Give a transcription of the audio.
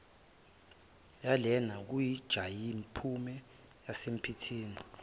yalena konjayiphume yisemphithi